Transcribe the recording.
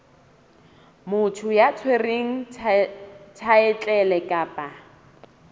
motho ya tshwereng thaetlele kapa